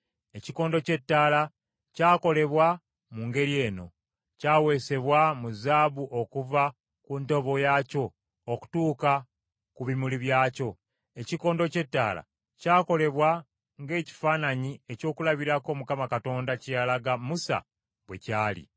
Ekikondo ky’ettaala kyakolebwa mu ngeri eno: kyaweesebwa mu zaabu okuva ku ntobo yaakyo okutuuka ku bimuli byakyo. Ekikondo ky’ettaala kyakolebwa ng’ekifaananyi ekyokulabirako Mukama Katonda kye yalaga Musa bwe kyali.